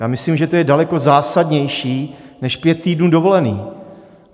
Já myslím, že to je daleko zásadnější než pět týdnů dovolené.